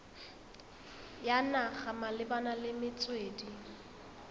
ya naga malebana le metswedi